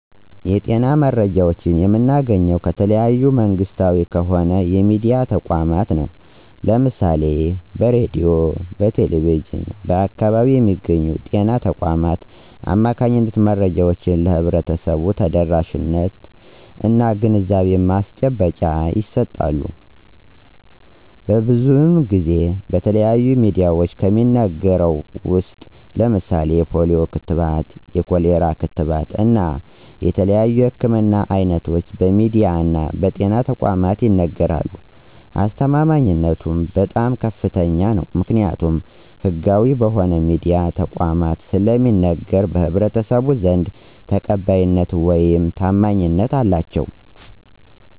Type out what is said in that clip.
የጤና መረጃዎችን የምናገኘው ከተለያዩ መንግስታዊ ከሆኑ የሚድያ ተቋማት ነው። ለምሳሌ በሬድዮ፣ በቴሌቪዥን እና በአካባቢው በሚገኙ በጤና ተቋማት አማካኝነት መረጃዎች ለህብረተሰቡ ተደራሽነት እና የግንዛቤ ማስጨበጫ ይሰጣል። ብዙን ጊዜ በተለያዩ ሚድያዎች ከሚነገረው ውስጥ ለምሳሌ የፖሊዮ ክትባት፣ የኮሌራ ክትባት እና የተለያዩ የህክምና አይነቶች በሚድያ እና በጤና ተቋማት ይነገራሉ። አስተማማኝነቱ በጣም ከፍተኛ ነው። ምክኒያቱም ህጋዊ በሆኑ የሚድያ ተቋማት ስለሚነገር በህብረተሰቡ ዘንድ ተቀባይነት ውይም ታማኝነት አላቸው።